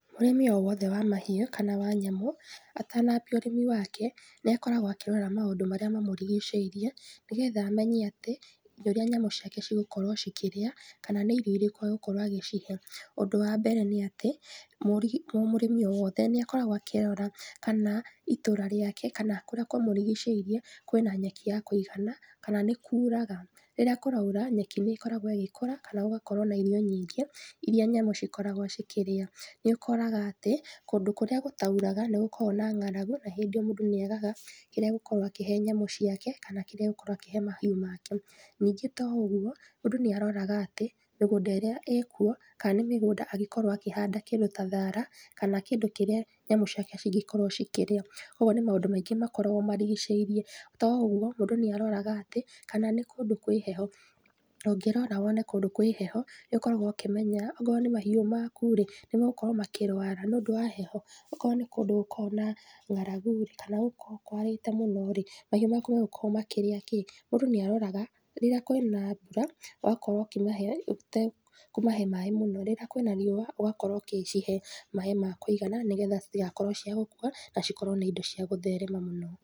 Mũrĩmi o wothe wa mahiũ, kana wa nyamũ, atanambia ũrĩmi wake, nĩakoragwo akĩrora maũndũ marĩa mamũrigicĩirie, nĩgetha amenye atĩ, rĩrĩa nyamũ ciake cigũkorwo cikĩrĩa, kana nĩ irio irĩkũ agũkorwo agĩcihe, ũndũ wa mbere nĩatĩ, mũ, mũrĩmi o wothe nĩakoragwo akĩrora kana, itũra rĩake kana kũrĩa kũmũrigicĩirie kwĩna nyeki ya kũigana, kana nĩkuraga, rĩrĩa kũraura, nyeki nĩkoragwo ĩgĩkũra kana gũgakorwo na irio nyingĩ, iria nyamũ cikoragwo cikĩrĩa, nĩũkoraga atĩ, kũndũ kũrĩa gũtauraga, nĩgũkoragwo na ng'aragu na hĩndĩ ĩyo mũndũ nĩethaga, kĩrĩa agũkorwo akĩhe nyamũ ciake kana kĩrĩa agũkorwo akĩhe mahiũ make, ningĩ to ũguo, mũndũ nĩaroraga atĩ, mĩgũnda ĩrĩa ĩkuo, ka nĩ mĩgũnda angĩkorwo akĩhanda kĩndũ ta thara, kana kĩndũ kĩrĩa nyamũ ciakae cingĩkorwo cikĩrĩa, koguo nĩ maũndũ maingĩ makoragwo marigicĩirie, to ũguo, mũndũ nĩaroraga atĩ, kana nĩ kũndũ kwĩ heho, ũngĩrora wone kũndũ kwĩ heho, nĩũkoragwo ũkĩmenya, akorwo nĩ mahiũ maku rĩ, nĩmegũkorwo makĩrwara nĩũndũ wa heho, okorwo ní kũndũ gũkoragwo na ng'aragu, kana gũkoragwo kwarĩte mũno, mahiũ maku magũkorwo makĩrĩa kĩ, mũndũ nĩaroraga, rĩrĩa kwĩna mbura, ũgakora ũkĩmahe ũtekũmahe maĩ mũno, rĩrĩa kwĩna riũa, ũgakorwo ũgĩcihe maĩ ma kũigana, nĩgetha citigakorwo cia gũkua, na cikorwo nĩ indo cia gũtherema mũno.